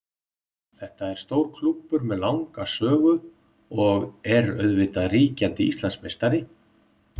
Þetta er stór klúbbur með langa sögu og er auðvitað ríkjandi Íslandsmeistari.